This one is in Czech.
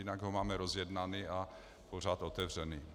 Jinak ho máme rozjednaný a pořád otevřený.